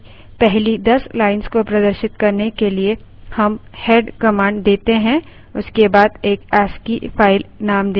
एक file की पहली 10 lines को प्रदर्शित करने के लिए हम head command देते हैं उसके बाद एक ascii file नेम देते हैं